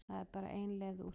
Það er bara ein leið úr því.